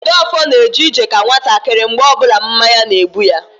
Jideofor na eje ije ka nwatakịrị mgbe ọbụla mmanya na-egbu ya